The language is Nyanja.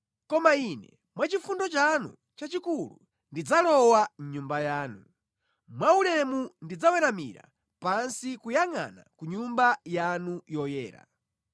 Koma Ine, mwa chifundo chanu chachikulu, ndidzalowa mʼNyumba yanu; mwa ulemu ndidzaweramira pansi kuyangʼana ku Nyumba yanu yoyera.